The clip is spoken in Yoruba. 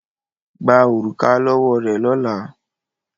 Gba òrùka lọ́wọ́ rẹ̀ lọ́la!